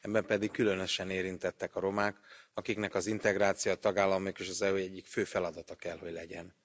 Ebben pedig különösen érintettek a romák, akiknek az integráció a tagállamok és az EU egyik fő feladata kell hogy legyen.